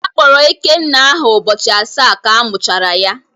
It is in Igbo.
Akpọrọ Ikenna aha ụbọchị asaa ka a mụchara ya.